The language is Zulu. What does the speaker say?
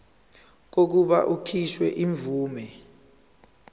kokuba kukhishwe imvume